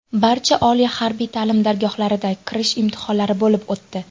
Barcha oliy harbiy ta’lim dargohlarida kirish imtihonlari bo‘lib o‘tdi.